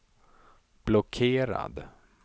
blockerad